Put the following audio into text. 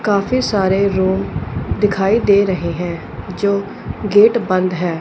काफ़ी सारे लोग दिखाई दे रहे है जो गेट बंद है।